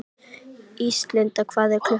Ísalind, hvað er klukkan?